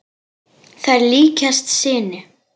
Þær líkjast sinu.